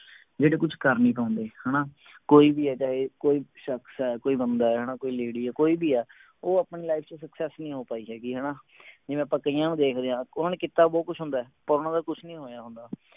ਜਿਹੜੇ ਕੁਝ ਕਰ ਨਹੀਂ ਪਾਉਂਦੇ ਹਣਾ ਕੋਈ ਏਹੋਜਾ ਇਹ ਕੋਈ ਸ਼ਖਸ ਆ ਕੋਈ ਬੰਦਾ ਹੈ ਹਣਾ ਕੋਈ lady ਆ ਕੋਈ ਵੀ ਆ ਉਹ ਆਪਣੀ life ਚ success ਨਹੀਂ ਹੋ ਪਾਈ ਹੈਗੀ ਹਣਾ ਜਿਵੇਂ ਆਪਾਂ ਕਈਆਂ ਨੂੰ ਦੇਖਦੇ ਆ ਉਹਨਾਂ ਨੇ ਕੀਤਾ ਬਹੁਤ ਕੁਛ ਹੁੰਦੇ ਪਰ ਓਹਨਾ ਦਾ ਕੁਛ ਨੀ ਹੋਇਆ ਹੁੰਦਾ